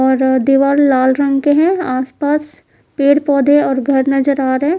और दिवाल लाल रंग के है आस पास पेड़ पौधे और घर नजर आ रहे--